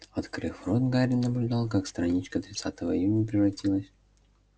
открыв рот гарри наблюдал как страничка тринадцатого июня превратилась